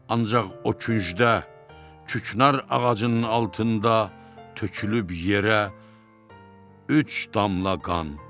Ancaq o küncdə küknar ağacının altında tökülüb yerə üç damla qan.